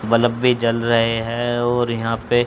bulb भी जल रहे हैं और यहां पे--